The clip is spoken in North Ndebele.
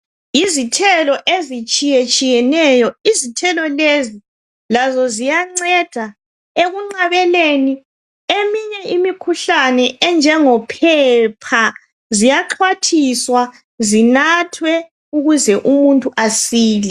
Yizithelo ezitshiyetshiyeneyo. Izithelo lezi lazo ziyanceda ekunqabeleni eminye imikhuhlane enjengophepha ziyaxhwathiswa, zinathwe ukuze umuntu asile.